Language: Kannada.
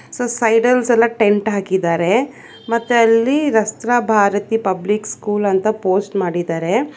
ಸೊ ಸೈಡ ಲ್ ಎಲ್ಲಾ ಟೆಂಟ್ ಹಾಕಿದ್ದಾರೆ ಮತ್ತೆ ಅಲ್ಲಿ ರಸ್ರಾ ಭಾರತಿ ಪಬ್ಲಿಕ್ ಸ್ಕೂಲ್ ಅಂತ ಪೋಸ್ಟ್ ಮಾಡಿದರೆ.